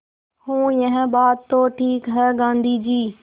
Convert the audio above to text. हूँ यह बात तो ठीक है गाँधी जी